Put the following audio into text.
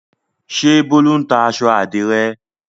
Ṣé Bólú ń ta aṣọ àdìrẹ́?